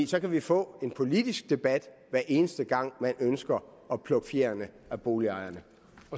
så kan vi få en politisk debat hver eneste gang man ønsker at plukke fjerene af boligejerne